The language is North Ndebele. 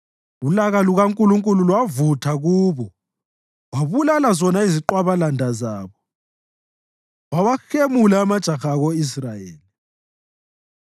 ulaka lukaNkulunkulu lwavutha kubo; wabulala zona iziqwabalanda zabo, wawahemula amajaha ako-Israyeli.